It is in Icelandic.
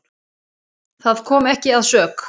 Það kom ekki að sök.